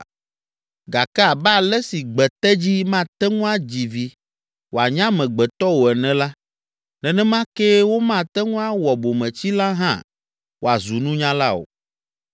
Gake abe ale si gbetedzi mate ŋu adzi vi wòanye amegbetɔ o ene la, nenema kee womate ŋu awɔ bometsila hã wòazu nunyala o.